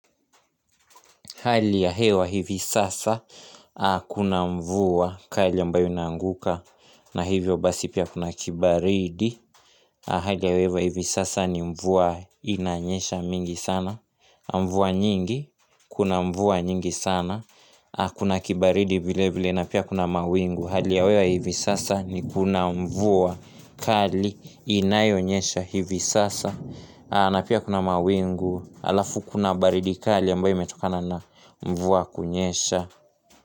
Hali ya hewa hivi sasa kuna mvua kali ambayo inanguka na hivyo basi pia kuna kibaridi Hali ya wewa hivi sasa ni mvua inanyesha mingi sana Mvua nyingi kuna mvua nyingi sana Kuna kibaridi vile vile na pia kuna mawingu Hali ya wewa hivi sasa ni kuna mvua kali inayo nyesha hivi sasa na pia kuna mawingu alafu kuna baridi kali ambayo imetokana na mvua kunyesha.